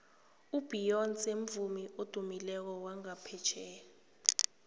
ubeyonce mvumi odumileko wangaphetjheya